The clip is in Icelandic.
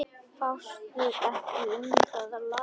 Fástu ekki um það, lagsi.